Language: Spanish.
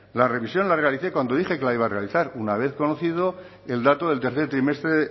la revisión la realicé cuando dije que la iba a realizar una vez conocido el dato del tercer trimestre